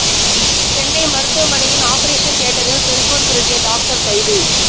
சென்னை மருத்துவமனையின் ஆபரேஷன் தியேட்டரில் செல்போன் திருடிய டாக்டர் கைது